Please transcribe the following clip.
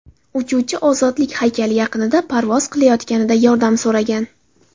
Uchuvchi Ozodlik haykali yaqinida parvoz qilayotganida yordam so‘ragan.